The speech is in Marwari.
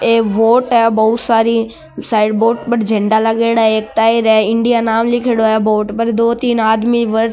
ये बोट है बहुत सारी साइड बोट पर झंडा लागेड़ी है एक टायर है इंडिया नाम लिखोडॉ है बोट पर दो तीन आदमी वर --